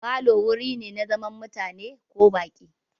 Falo wuri ne na zaman mutane ko baƙi.